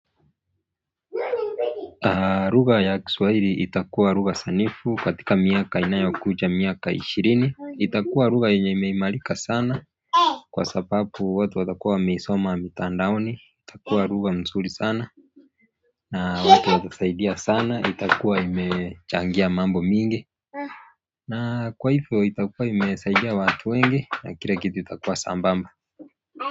Lugha ya kiswahili itakuwa lugha sanifu katika miaka inayo kuja miaka ishirini itakuwa lugha yenye imeimalika sana kwa sababu watu watakuwa wameisoma mitandaoni itakuwa lugha nzuri sana na watu watasaidia sana itakuwa imechangia mambo mingi na kwa ivo itakuwa imesaidia watu wenge na kila kitu itakuwa sambamba.